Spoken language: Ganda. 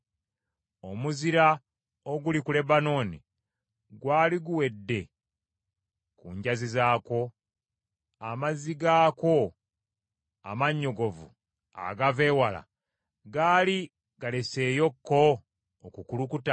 Omuzira oguli ku Lebanooni gwali guwedde ku njazi zaakwo? Amazzi gaakwo amannyogovu agava ewala gaali galeseeyoko okukulukuta?